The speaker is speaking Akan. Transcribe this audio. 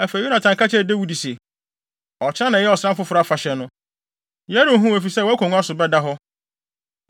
Afei, Yonatan ka kyerɛɛ Dawid se, “Ɔkyena na ɛyɛ ɔsram foforo afahyɛ no. Yɛrenhu wo, efisɛ wʼakongua so bɛda hɔ.